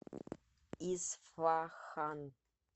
исфахан